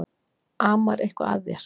Amar eitthvað að þér?